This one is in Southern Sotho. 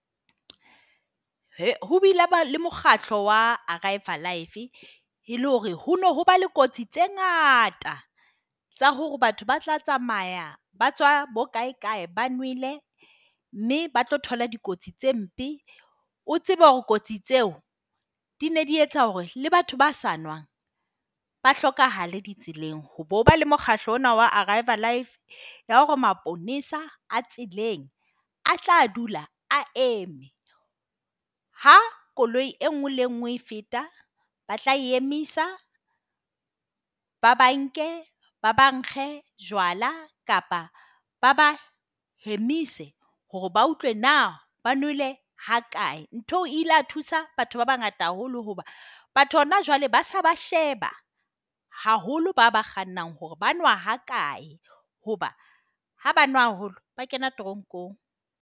Ho bile ha ba le mokgatlo wa Arrive Alive e le hore ho no ho ba le kotsi tse ngata tsa hore batho ba tla tsamaya ba tswa bokae kae, ba nwele mme ba tlo thola dikotsi tse mpe. O tsebe hore kotsi tseo di ne di etsa hore le batho ba sa nwang ba hlokahale ditseleng. Ho be ho ba le mokgatlo ona wa Arrive Alive, ya hore maponesa a tseleng a tla dula a eme ha koloi e nngwe le nngwe e feta ba tla e emisa, ba ba nke. Ba ba nkge jwala kapa ba ba hemise hore ba utlwe na ba nwele ha kae. Ntho eo e ile ya thusa batho ba bangata haholo hoba batho hona jwale ba se ba sheba haholo bana ba kgannang hore ba nwa ha kae hoba ha ba nwa haholo ba kena teronkong.